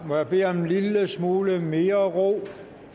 må jeg bede om en lille smule mere ro